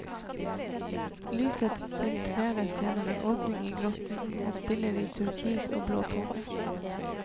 Lyset filtreres gjennom en åpning i grotten og spiller i turkis og blåtoner.